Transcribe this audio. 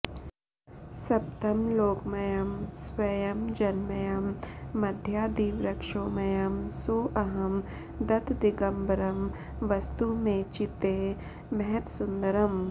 सप्तं लोकमयं स्वयं जनमयं मध्यादिवृक्षोमयं सोऽहं दत्तदिगम्बरं वसतु मे चित्ते महत्सुन्दरम्